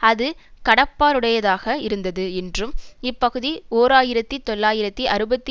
அது கடப்பாடுடையதாக இருந்தது என்றும் இப்பகுதி ஓர் ஆயிரத்தி தொள்ளாயிரத்து அறுபத்தி